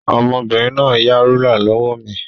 Ọmọbìnrin náà yá rúlà lọ́wọ́ mi.